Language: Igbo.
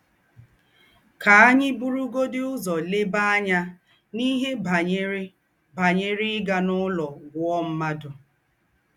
Kà ànyì burùgọ̀dì úzọ̀ lèbá ànyà n’íhe bányerè bányerè ígà n’ụlọ̀ gwúọ̀ m̀ádụ́.